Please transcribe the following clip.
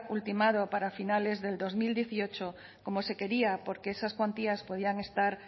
ultimado para finales del dos mil dieciocho como se quería porque esas cuantías podían estar